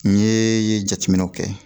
N ye jateminɛw kɛ